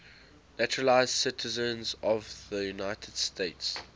naturalized citizens of the united states